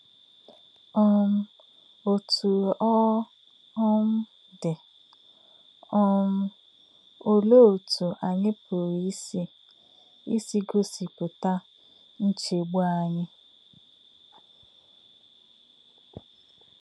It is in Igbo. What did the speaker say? um Ọ̀tú̄ ọ́ um dì̄, um ọ̀lē̄ ọ̀tú̄ ànyí̄ pụ̀rụ́ ísī̄ ísī̄ gọ̀sìpụ̀tà̄ nchè̄gbù̄ ànyí̄?